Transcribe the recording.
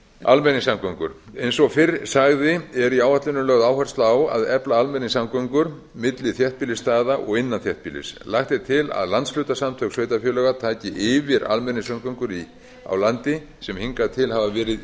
almenningssamgöngur eins og fyrr sagði er í áætluninni lögð áhersla á að efla almenningssamgöngur milli þéttbýlisstaða og innan þéttbýlis lagt er til að landshlutasamtök sveitarfélaga taki yfir almenningssamgöngur á landi sem hingað til hafa verið